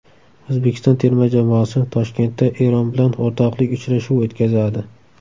O‘zbekiston terma jamoasi Toshkentda Eron bilan o‘rtoqlik uchrashuvi o‘tkazadi.